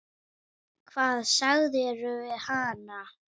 Hvað sagðirðu við hana?